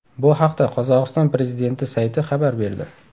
Bu haqda Qozog‘iston prezidenti sayti xabar berdi .